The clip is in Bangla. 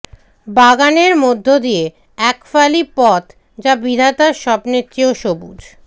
বাগানের মধ্য দিয়ে একফালি পথ যা বিধাতার স্বপ্নের চেয়েও সবুজ